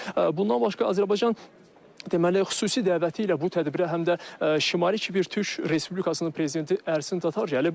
Bundan başqa Azərbaycan deməli xüsusi dəvəti ilə bu tədbirə həm də Şimali Kipr Türk Respublikasının prezidenti Ərsin Tatar gəlib.